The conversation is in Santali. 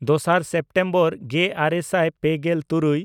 ᱫᱚᱥᱟᱨ ᱥᱮᱯᱴᱮᱢᱵᱚᱨ ᱜᱮᱼᱟᱨᱮ ᱥᱟᱭ ᱯᱮᱜᱮᱞ ᱛᱩᱨᱩᱭ